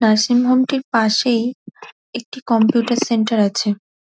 nursing home -টির পাশেই একটি কম্পিউটার সেন্টার আছে |